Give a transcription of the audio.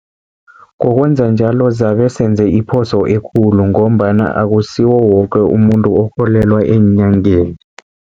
Ngokwenza njalo zabe senze iphoso ekulu, ngombana akusiwo woke umuntu okholelwa eenyangeni.